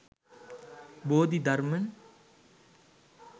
bodi dharman